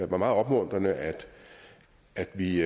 var meget opmuntrende at at vi